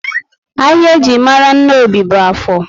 Ahịa eji mara Nnobi bú Áfọr